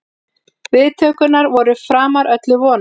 Viðtökurnar voru framar öllum vonum